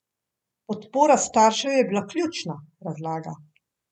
Podpora staršev je bila ključna, razlaga.